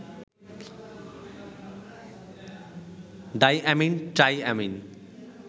diamine, triamine